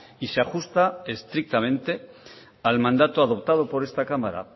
y se ajusta estrictamente al mandato adoptado por esta cámara